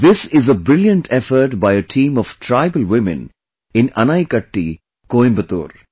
This is a brilliant effort by a team of tribal women in Anaikatti, Coimbatore